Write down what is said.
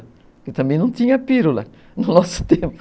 Eu também não tinha pílula no nosso tempo.